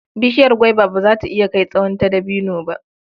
Bishiyar gwaiba ba za ta iya kai tsawon ta dabino ba.